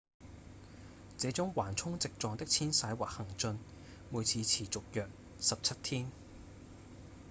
這種橫衝直撞的遷徙或行進每次持續約17天